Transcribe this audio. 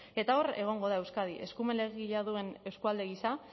eta hor egongo da euskadi eskumen legegilea duen eskualde gisa